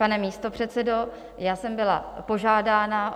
Pane místopředsedo, já jsem byla požádána -